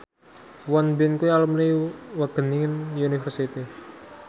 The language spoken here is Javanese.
Won Bin kuwi alumni Wageningen University